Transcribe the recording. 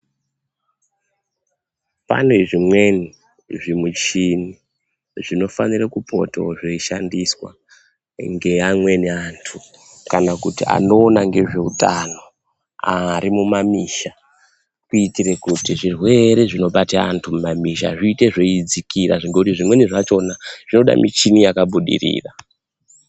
Pane zvimweni zvimichhini zvinofanire kupotawo zveishandiswa, ngeamweni anthu kana kuti anoona ngezveutano ari mumamuzi. Kuitire kuti zvirwere zvinobata anthu mumamizi zviite zveidzakira, ngendaa yekuti zvimweni zvakhona zvinoda michhini yakabudirira.